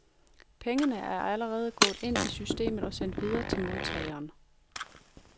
Pengene er allerede gået ind i systemet og sendt videre til modtageren.